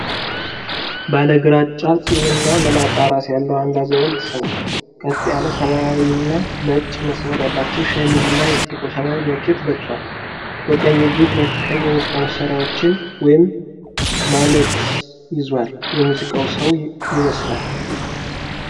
ባለ ግራጫ ፂም እና መላጣ ራስ ያለው አንድ አዛውንት ሰው። ቀጥ ያለ ሰማያዊና ነጭ መስመር ያለው ሸሚዝ እና ጥቁር ሰማያዊ ጃኬት ለብሷል። በቀኝ እጁ ሁለት ቀይ የሙዚቃ መሣሪያ መደወያዎችን (ማሌትስ) ይዟል። የሙዚቃ ሰው ይመስላል።